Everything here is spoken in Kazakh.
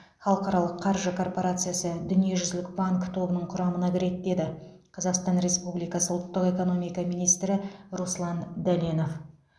халықаралық қаржы корпорациясы дүниежүзілік банк тобының құрамына кіреді деді қазақстан республикасы ұлттық экономика министрі руслан дәленов